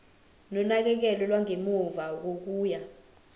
nonakekelo lwangemuva kokuya